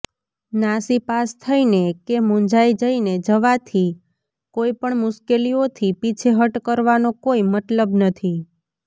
નાસીપાસ થઈને કે મૂંઝાઈ જઈને જવાથી કોઈપણ મુશ્કેલીઓથી પીછેહટ કરવાનો કોઈ મતલબ નથી